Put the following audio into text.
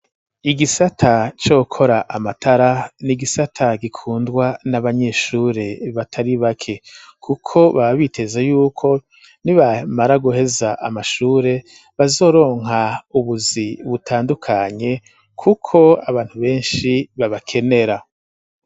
Igisata co gukora amatara nigisata gikundwa n'abanyeshure batari bake kuko baba biteze yuko nibamara guheza amashure bazoronka ubuzi butandukanye kuko abantu benshi babakenera.